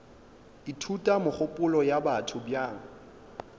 ithuta megopolo ya batho bjang